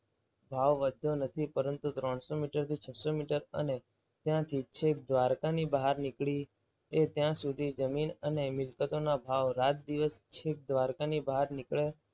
ભાવ વધ્યો નથી. પરંતુ ત્રણસો થી છસો મીટર અને ત્યાંથી છેક દ્વારકા ની બહાર નીકળી ત્યાં સુધી જમીન અને મિલકતોના ભાવ રાત દિવસ છે દ્વારકાની બહાર નીકળે